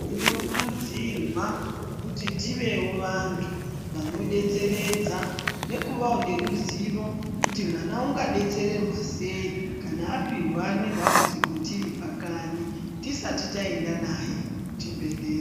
Tinokurudzirwa kuti tiveo vantu vanodetseredza nekuvawo neruzivo kuti mwana ungadetsererwa sei kana apindwa nedambudziko tiri pakanyi tisati taenda naye kuchibhedhleya.